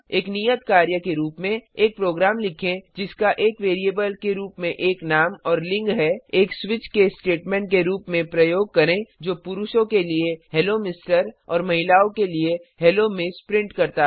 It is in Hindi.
एक नियत कार्य के रूप में एक प्रोग्राम लिखें जिसका एक वैरिएबल के रूप में एक नाम और लिंग है एक स्विच केस स्टेटमेंट के रूप में प्रयोग करें जो पुरुषों के लिए हेलो एमआर और महिलाओं के लिए हेलो एमएस प्रिंट करता है